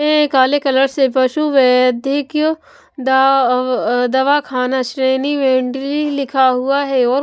ने काले कलर से पशु वैदिक दअअ दवाखाना श्रेणी मेंडली लिखा हुआ है और--